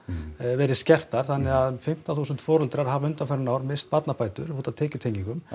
verið skertar þannig að um fimmtán þúsund foreldrar hafa undanfarin ár misst barnabætur